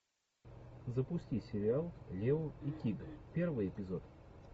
запусти сериал лео и тиг первый эпизод